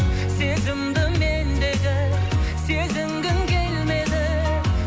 сезімді мендегі сезінгің келмеді